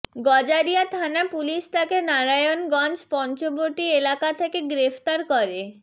গজারিয়া থানা পুলিশ তাকে নারায়ণগঞ্জ পঞ্চবটি এলাকা থেকে গ্রেফতার করে